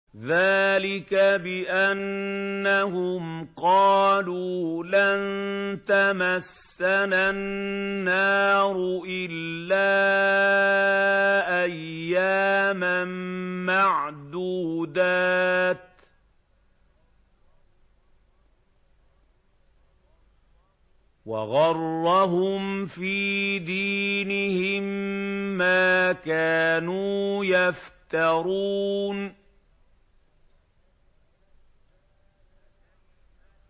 ذَٰلِكَ بِأَنَّهُمْ قَالُوا لَن تَمَسَّنَا النَّارُ إِلَّا أَيَّامًا مَّعْدُودَاتٍ ۖ وَغَرَّهُمْ فِي دِينِهِم مَّا كَانُوا يَفْتَرُونَ